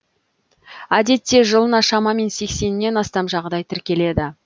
әдетте жылына шамамен сексеннен астам жағдай тіркеледі